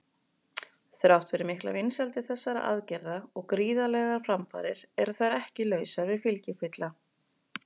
Þrátt fyrir miklar vinsældir þessara aðgerða og gríðarlegar framfarir eru þær ekki lausar við fylgikvilla.